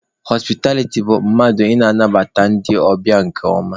Họspịtabiliti bụ mmadụ ị na-anabata ndị ọbịa nke ọma